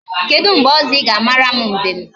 Kedu mgbe ọzọ ị ga-amara m mbem?